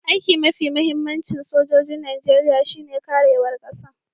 Aiki'n mafi muhimmancin sojoji'n Nijeriya shine karewan Kasan.